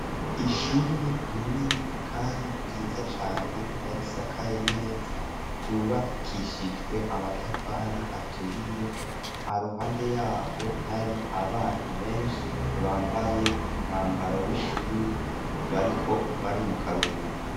Ishure rinini kandi ryiza cane, risakaye neza ryubakishijwe amatafari aturiye. Haruhande yaho hari abana benshi bambaye umwambaro w'ishuri, bariko bari mu karuhuko.